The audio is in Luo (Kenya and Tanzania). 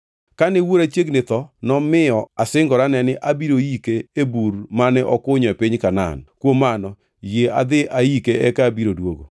‘Kane wuora chiegni tho, nomiyo asingorane ni abiro yike e bur mane okunyo e piny Kanaan. Kuom mano yie adhi aike eka abiro duogo.’ ”